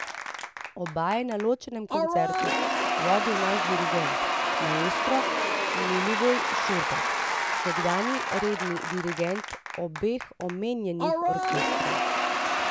Oba je na ločenem koncertu vodil naš dirigent, maestro Milivoj Šurbek, nekdanji redni dirigent obeh omenjenih orkestrov.